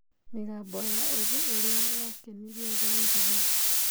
Mĩgambo ya Ũgĩ ũrĩa yakenirie Zanzibar.